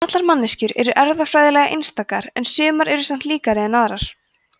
allar manneskjur eru erfðafræðilega einstakar en sumar eru samt líkari en aðrar